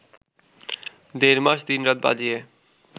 দেড় মাস দিনরাত বাজিয়ে